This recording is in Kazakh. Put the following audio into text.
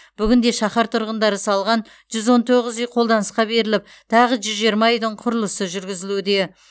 бүгінде шаһар тұрғындары салған жүз он тоғыз үй қолданысқа беріліп тағы жүз жиырма үйдің құрылысы жүргізілуде